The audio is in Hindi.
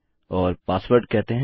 और पासवर्ड कहते हैं